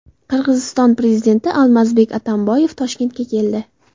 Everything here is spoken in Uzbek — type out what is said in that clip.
Qirg‘iziston prezidenti Almazbek Atamboyev Toshkentga keldi.